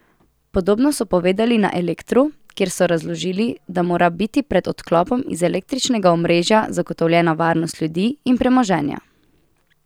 Podobno so povedali na Elektru, kjer so razložili, da mora biti pred odklopom iz električnega omrežja zagotovljena varnost ljudi in premoženja.